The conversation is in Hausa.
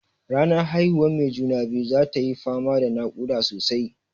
Ranar haihuwan mai juna-biyu zatayi fama da naƙuda sosai.